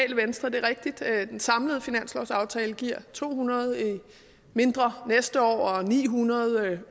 så det er rigtigt at den samlede finanslovsaftale giver to hundrede færre næste år og ni hundrede